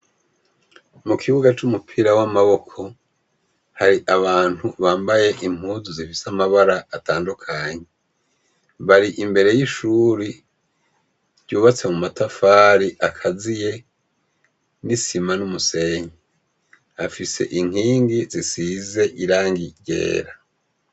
Mukibuga c'umupira w'amaboko, hari abantu bambaye impuzu zifise amabara atandukanye, bari imbere y'ishuri, ryubatse mumatafari akaziye n'isima n'umusenyi. Afise ikingi zisize irangi ryera.